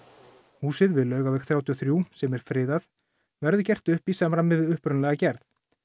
húsið við Laugaveg þrjátíu og þrjú sem er friðað verður gert upp í samræmi við upprunalega gerð